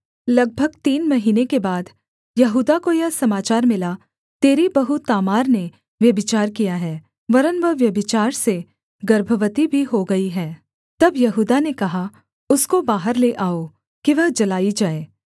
लगभग तीन महीने के बाद यहूदा को यह समाचार मिला तेरी बहू तामार ने व्यभिचार किया है वरन् वह व्यभिचार से गर्भवती भी हो गई है तब यहूदा ने कहा उसको बाहर ले आओ कि वह जलाई जाए